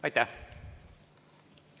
Aitäh!